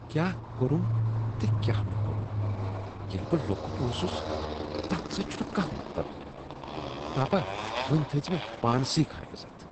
کیٛاہ کوٚرم تہٕ کیٛاہ نہٕ کوٚرم ییٚلہ بہٕ لۄکٹ اوسس، تتھ سۭتۍ چھنہٕ کانہہ مطلب، پاپا وۄنۍ تھاو پانسٕے کانٛہہ عزت!